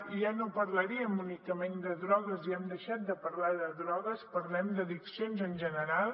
i ja no parlaríem únicament de drogues ja hem deixat de parlar de drogues parlem d’addiccions en general